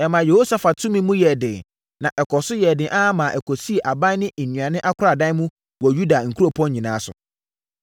Ɛmaa Yehosafat tumi mu yɛɛ den, na ɛkɔɔ so yɛɛ den ara maa ɔsisii aban ne nnuane akoradan wɔ Yuda nkuropɔn nyinaa so.